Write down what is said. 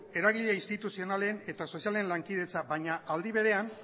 eragile instituzionalen eta sozialen lankidetza baina aldi berean